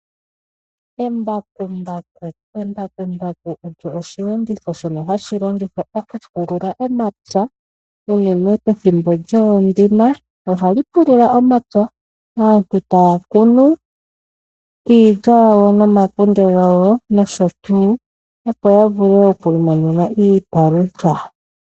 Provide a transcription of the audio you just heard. Embakumbaku olyo oshilongitho shono hashi longithwa okupulula omapya unene pethimbo lyoondima. Ohali pulula omapya, aantu taya kunu iilya yawo nomakunde gawo nosho tuu, opo ya vule oku imonena iipalutha.